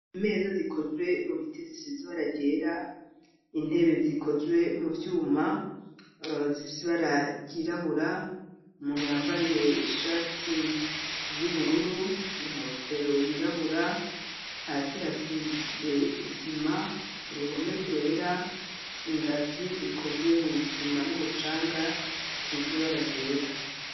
Imeza zikozwe mu biti zisiz'ibara ryera, intebe zikozwe mu vyuma zifis'ibara ryirabura, umuntu yambaraye ishati y'ubururu inkofero yirabura, hasi hasize isima, uruhome rwera ,ingazi zikozwe mw'isima n'umucanga zisez'ibara ryera.